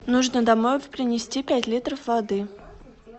нужно домой принести пять литров воды